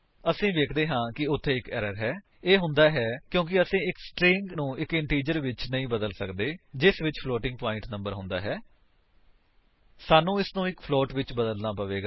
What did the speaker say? ਅਸੀ ਵੇਖਦੇ ਹਾਂ ਕਿ ਉੱਥੇ ਇੱਕ ਏਰਰ ਹੈ ਇਹ ਹੁੰਦਾ ਹੈ ਕਿਉਂਕਿ ਅਸੀ ਇੱਕ ਸਟਰਿੰਗ ਨੂੰ ਇੱਕ ਇੰਟੀਜਰ ਵਿੱਚ ਨਹੀਂ ਬਦਲ ਸੱਕਦੇ ਹਾਂ ਜਿਸ ਵਿੱਚ ਫਲੋਟਿੰਗ ਪਾਇੰਟ ਨੰਬਰ ਸ਼ਾਮਿਲ ਹੈ ਸਾਨੂੰ ਇਸਨੂੰ ਇੱਕ ਫਲੋਟ ਵਿੱਚ ਬਦਲਨਾ ਹੋਵੇਗਾ